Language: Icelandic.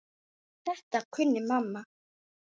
Þetta kunni mamma.